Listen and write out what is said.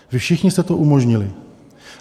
Vy všichni jste to umožnili.